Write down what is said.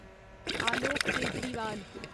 Alok Kejriwal